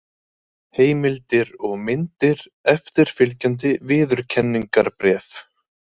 Heimildir og myndir: Eftirfylgjandi viðurkenningarbréf.